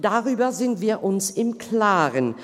Darüber sind wir uns im Klaren.